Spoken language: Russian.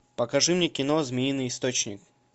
покажи мне кино змеиный источник